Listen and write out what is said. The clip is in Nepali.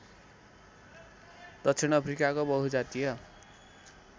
दक्षिण अफ्रिकाको बहुजातीय